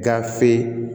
Gafe